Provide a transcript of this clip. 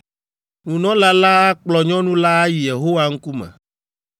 “ ‘Nunɔla la akplɔ nyɔnu la ayi Yehowa ŋkume,